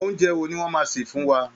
Oúnjẹ wo ni wọ́n máa sè fún wa?